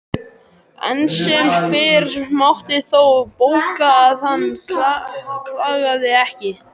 Enn sem fyrr mátti þó bóka að hann klagaði ekki.